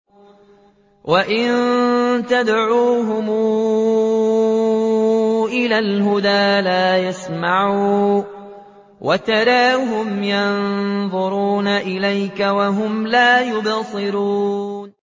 وَإِن تَدْعُوهُمْ إِلَى الْهُدَىٰ لَا يَسْمَعُوا ۖ وَتَرَاهُمْ يَنظُرُونَ إِلَيْكَ وَهُمْ لَا يُبْصِرُونَ